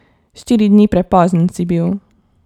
Štiri dni prepozen si bil.